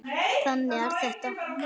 Þannig er þetta.